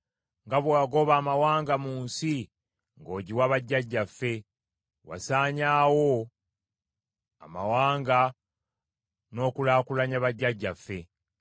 Nga bwe wagoba amawanga mu nsi n’ogiwa bajjajjaffe, wasaanyaawo amawanga n’okulaakulanya bajjajjaffe.